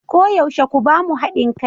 Koyaushe ku ba mu hadin kai.